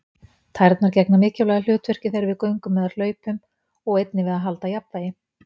Tærnar gegna mikilvægu hlutverki þegar við göngum eða hlaupum og einnig við að halda jafnvægi.